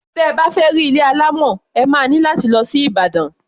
Tẹ bá fẹ́ rí ilé alámọ̀, ẹ má ní láti lọ sí Ìbàdàn.